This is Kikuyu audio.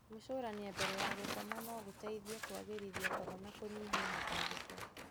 Gwĩcũrania mbere ya gũkoma no gũteithie kũagĩrithia toro na kũnyihia mĩtangĩko.